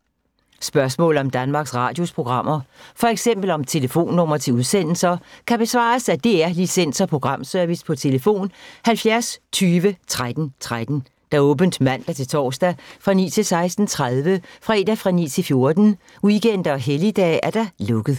Spørgsmål om Danmarks Radios programmer, f.eks. om telefonnumre til udsendelser, kan besvares af DR Licens- og Programservice: tlf. 70 20 13 13, åbent mandag-torsdag 9.00-16.30, fredag 9.00-14.00, weekender og helligdage: lukket.